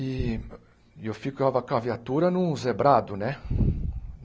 E e eu ficava com a viatura num zebrado, né?